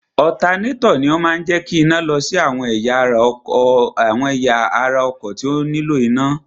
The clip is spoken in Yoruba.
Ọ̀tanátọ̀ ni ó máa ń jẹ́ kí iná lọ sí àwọn ẹ̀yà ara ọkọ̀ tí ó nílò iná.